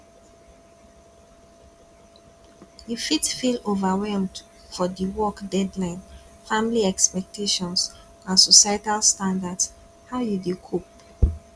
you fit feel overwhelmed for di work deadlines family expectations and societal standards how you dey cope